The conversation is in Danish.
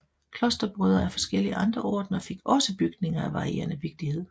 Klosterbrødre af forskellige andre ordener fik også bygninger af varierende vigtighed